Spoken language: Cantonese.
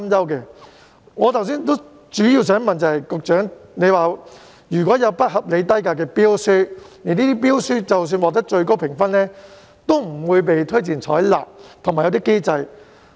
就我剛才的提問，局長表示如有不合理低價的標書，這些標書即使獲得最高評分，也不會被推薦採納，而且訂有機制進行監管。